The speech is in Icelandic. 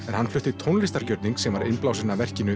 en hann flutti tónlistargjörning sem var innblásinn af verkinu